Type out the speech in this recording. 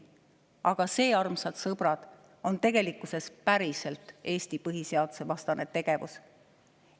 Aga see, armsad sõbrad, on tegelikkuses päriselt Eesti põhiseaduse vastane tegevus.